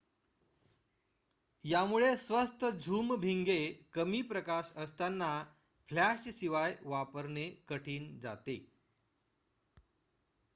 यामुळे स्वस्त झूम भिंगे कमी प्रकाश असताना फ्लॅश शिवाय वापरणे कठीण जाते